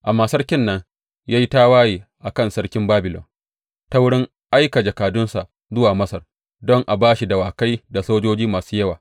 Amma sarkin nan ya yi tawaye a kan sarkin Babilon ta wurin aika jakadunsa zuwa Masar don a ba shi dawakai da sojoji masu yawa.